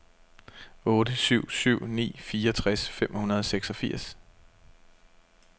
otte syv syv ni fireogtres fem hundrede og seksogfirs